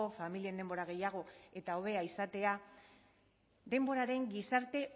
familien denbora gehiago eta hobea izatea denboraren gizarte